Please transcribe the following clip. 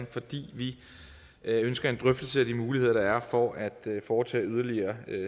fordi vi ønsker en drøftelse af de muligheder der er for at foretage yderligere